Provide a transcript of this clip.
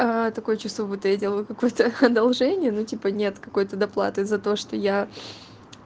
такое чувство будто я делаю какое-то одолжение ну типа нет какой-то доплаты за то что я